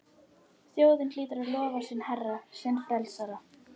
Þjóðin hlýtur að lofa sinn herra, sinn frelsara!